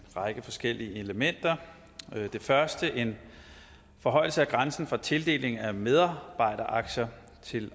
række forskellige elementer det første er en forhøjelse af grænsen for tildeling af medarbejderaktier til